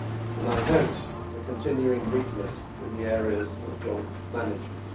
and I note the continuing weakness in the areas of joint management.